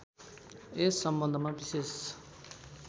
यस सम्बन्धमा विशेष